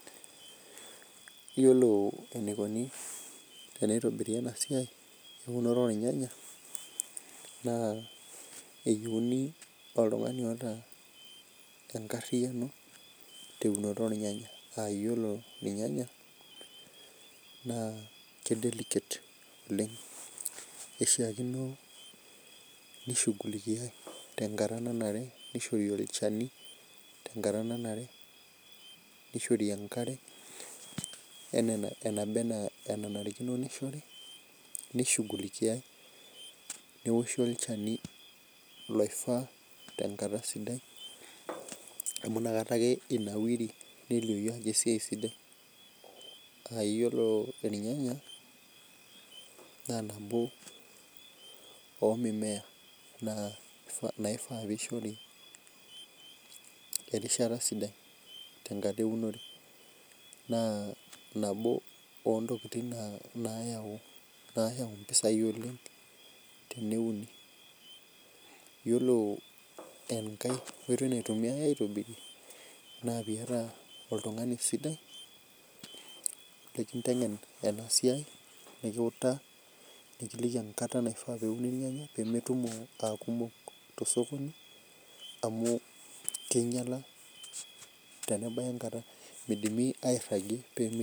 Iyiolo eneikuni pee eitobiri ena siai, eunore oolnyanya, naa eyiuni oltang'ani oata enkariyano, te eunoto oolnyanya. Aa iyiolo ilnyanya naa eidelicate oleng', keishaakino neishughulikia tenkata nanare, neishori olchani tenkata nananre, neishori enkare anaa enananrikino anaa peishori, neishughulikiai, neoshi olchani loifaa tenkata sidai amu inakata ake einawiri neliou ajo esiai sidai. Aa iyiolo ilnyanya, naa nabo oo mimea naishaa peshori erishata sidai tenkata eunoto. Naa nabo oo ntokitin naayau impisai oleng' teneuni, iyiolo enkai oitoi naitumiyai aitobirie na pee iyata oltung'ani lekinteng'en ena siai, nekiutaa nekiliki enkata niun ilnyanya pee metumo aa kumok te sokoni, amu keinyala tenebaya enkata, meidimi airagie.